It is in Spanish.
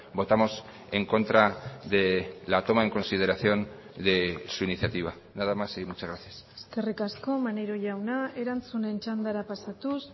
votamos en contra de la toma en consideración de su iniciativa nada más y muchas gracias eskerrik asko maneiro jauna erantzunen txandara pasatuz